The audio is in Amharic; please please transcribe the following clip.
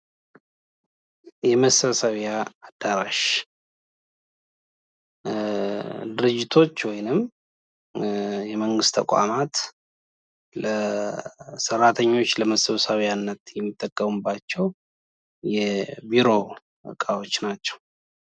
የመሰብሰቢያ አዳራሽ ፤ ድርጅቶች ወይንም የመንግስት ተቋማት ለሠራተኞች ለመሰብሰቢያነት የሚጠቀሙባቸዉ የቢሮ እቃዎች ናቸው።